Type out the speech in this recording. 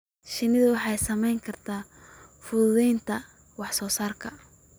Shinnidu waxay saamayn kartaa fududaynta wax soo saarka.